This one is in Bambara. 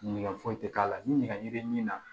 Nege foyi tɛ k'a la ni nɛgɛ min na